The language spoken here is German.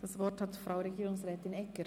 DasWort hat Frau Regierungsrätin Egger.